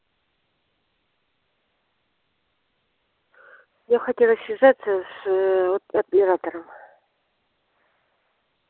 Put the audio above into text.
я хотела связаться с ээ вот оператором